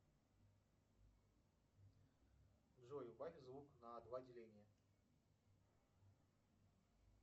джой убавь звук на два деления